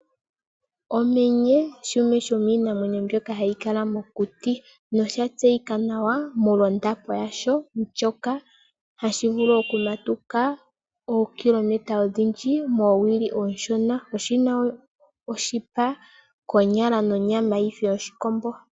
Omenye, shimwe sho miinamwenyo mbyoka hayi kala mokuti, no sha tseyika nawa molwa ondapo yasho ndjoka hashi vulu oku matuka ookilometa odhindji, moowili oonshona. Oshi na oshipa, nonyama ndjoka konyala yi fe yoshikombo.